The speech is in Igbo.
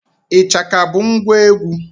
Ịchaka bụ ngwa egwu.